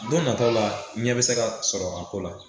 Don nataw la ɲɛ be se ka sɔrɔ a ko la